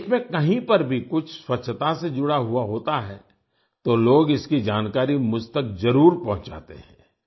देश में कहीं पर भी कुछ स्वच्छता से जुड़ा हुआ होता है तो लोग इसकी जानकारी मुझ तक जरुर पहुंचाते हैं